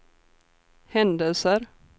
händelser